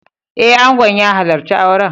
Eh, Angon ya halarci auren